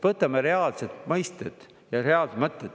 Võtame reaalselt mõisted ja reaalsed mõtted.